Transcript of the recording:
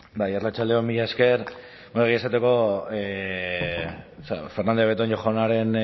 bai arratsalde on mila esker bueno egia esateko fernandez de betoño jaunaren